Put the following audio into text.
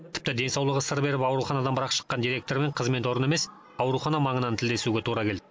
тіпті денсаулығы сыр беріп ауруханадан бірақ шыққан директормен қызмет орны емес аурухана маңынан тілдесуге тура келді